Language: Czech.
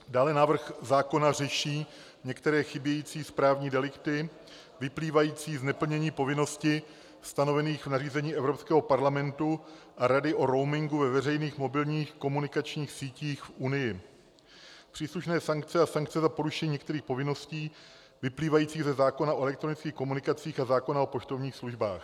Dále návrh zákona řeší některé chybějící správní delikty vyplývající z neplnění povinností stanovených v nařízení Evropského parlamentu a Rady o roamingu ve veřejných mobilních komunikačních sítích v Unii, příslušné sankce a sankce za porušení některých povinností vyplývajících ze zákona o elektronických komunikacích a zákona o poštovních službách.